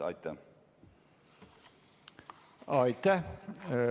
Aitäh!